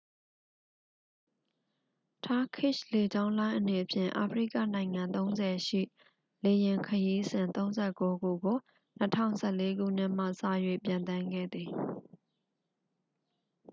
turkishလေကြောင်းလိုင်းအနေဖြင့် အာဖရိကနိုင်ငံ ၃၀ ရှိ လေယာဉ်ခရီးစဉ် ၃၉ ခုကို ၂၀၁၄ ခုနှစ်မှစ၍ ပျံသန်းခဲ့သည်။